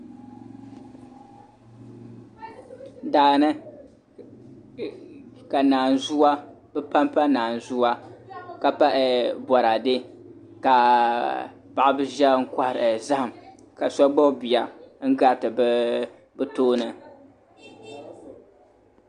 Daani ka bi panpa naazuwa ka pa boraadɛ ka paɣaba ʒiya n kohari zaham ka so gbubi bia n gariti bi tooni